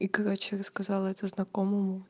и короче рассказала это знакомому